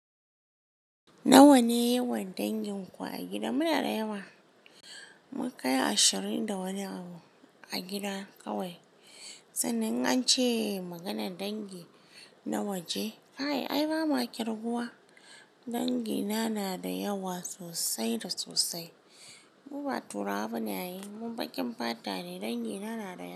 Nawa ne yawan dangin ku a gida? Muna da yawa. Mun kai ashirin da wani abu a gida kawai. Sannan ance maganar dangi na waje. Kai ai ba muwa kirguwa. Dangina na da yawa sosai da sosai. Muba turawa bane ai. Mu baƙin fata ne. Dangina na da yawa.